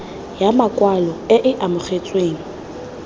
ya makwalo e e amogetsweng